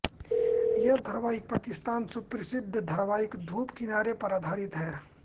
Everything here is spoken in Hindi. यह धारावाहिक पाकिस्तानी सुप्रसिद्ध धारावाहिक धूप किनारे पर आधारित है